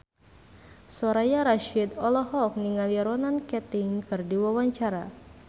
Soraya Rasyid olohok ningali Ronan Keating keur diwawancara